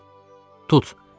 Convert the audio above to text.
Tut,